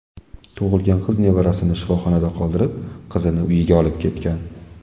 tug‘ilgan qiz nevarasini shifoxonada qoldirib, qizini uyiga olib ketgan.